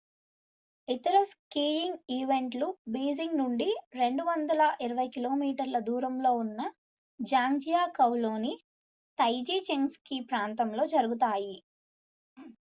ఇతర స్కీయింగ్ ఈవెంట్లు బీజింగ్ నుండి 220 కి.మీ 140 మైళ్ళు దూరంలో ఉన్న జాంగ్జియాకౌలోని తైజిచెంగ్ స్కీ ప్రాంతంలో జరుగుతాయి